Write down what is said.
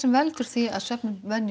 veldur því að